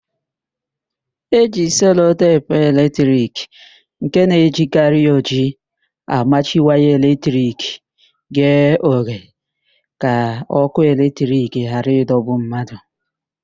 E ji selotepu eletrik nke na-ejikarị ojii amachi waya eletrik ghe oghe ka ókụ́ eletrik ghara ịdọgbu mmadụ.